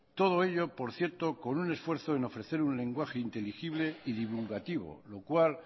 todo ello por cierto con un esfuerzo en ofrecer un lenguaje inteligible y divulgativo lo cual